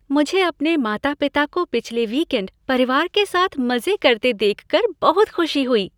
मुझे अपने माता पिता को पिछले वीकेंड परिवार के साथ मजे करते देखकर बहुत खुशी हुई।